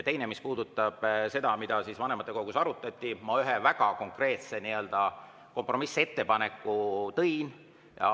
Teiseks, mis puudutab seda, mida vanematekogus arutati, siis ma ühe väga konkreetse nii-öelda kompromissettepaneku tõin välja.